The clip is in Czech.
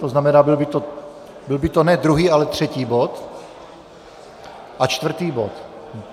To znamená, byl by to ne druhý, ale třetí bod a čtvrtý bod?